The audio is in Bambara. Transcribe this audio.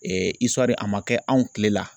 a ma kɛ anw kile la.